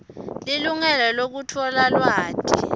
lilungelo lekutfola lwati